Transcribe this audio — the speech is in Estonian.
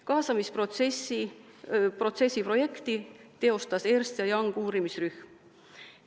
Kaasamisprotsessi projekti teostas Ernst & Youngi uurimisrühm.